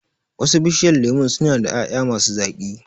Wasu Bishiyar lemun su na da ƴaƴa ma su zaƙi